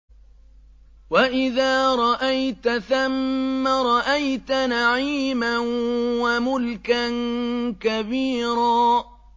وَإِذَا رَأَيْتَ ثَمَّ رَأَيْتَ نَعِيمًا وَمُلْكًا كَبِيرًا